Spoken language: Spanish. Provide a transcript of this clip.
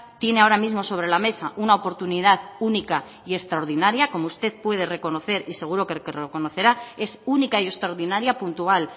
tiene ahora mismo sobre la mesa una oportunidad única y extraordinaria como usted puede reconocer y seguro que lo reconocerá es única y extraordinaria puntual